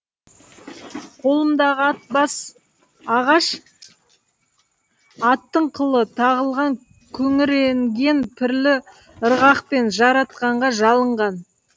қолымдағы ат бас ағаш аттың қылы тағылған күңіренген пірлі ырғақпен жаратқанға жалынған